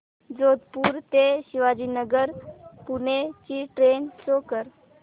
जोधपुर ते शिवाजीनगर पुणे ची train show कर